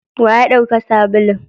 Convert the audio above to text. wa yadauka sabulun?